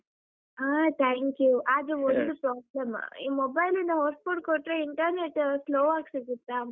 ಹಾ thank you ಆದ್ರೆ ಒಂದು problem ಈ mobile ಲಿಂದ hotspot ಕೊಟ್ರೆ internet slow ಆಗ್‌ ಸಿಗುತ್ತ?